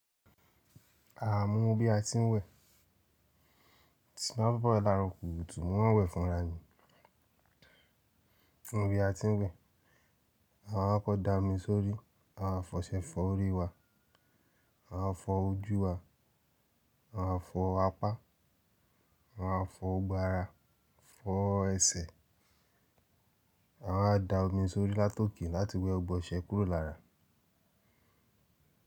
Àá mo mo bí a ti ń wẹ̀, mo si má we láro kòrò tù, mò ń maa n wẹ̀ fúnra ni. Bí a ti ń wẹ̀, a wà á kọ́ da omi sórí, a wà á fọṣẹ fọ orí wa, a wà á fọ ojú wa, a wà á fọ apá, a wà á fọ gbogbo ára, fọ ẹsẹ̀, a wà á da omi sórí látọkì láti wẹ ọgbọnsẹ̀ kúrò lára.